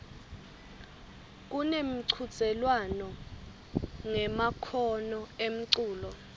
kunemchudzelwano ngemakhono emculo